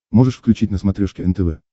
можешь включить на смотрешке нтв